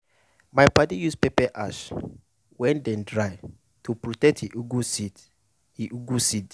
my padi use pepper ash wey dey dry to protect e ugwu seed. e ugwu seed.